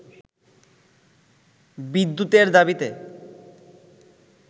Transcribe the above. বিদ্যুতের দাবিতে